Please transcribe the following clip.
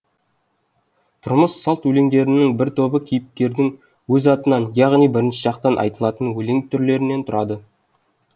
тұрмыс салт өлеңдерінің бір тобы кейіпкердің өз атынан яғни бірінші жақтан айтылатын өлең түрлерінен тұрады